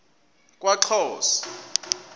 kwaxhosa